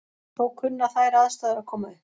Þó kunna þær aðstæður að koma upp.